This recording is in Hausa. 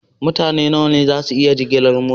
Mutane nawa ne za su iya jigilar mota?